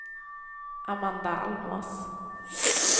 Amanda Almås